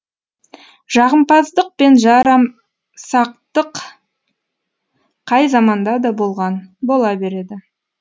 жағымпаздық пен жарамсақтық қай заманда да болған бола береді